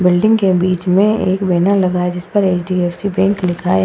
Building के बीच में एक बैनर लगा जिस पर एच.डी.एफ.सी बैंक लिखा है।